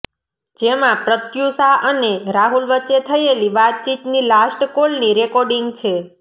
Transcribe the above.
જેમાં પ્રત્યુષા અને રાહુલ વચ્ચે થયેલી વાતચીતની લાસ્ટ કોલની રેકોડિંગ છે